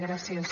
gràcies